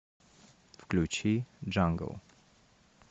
включи джангл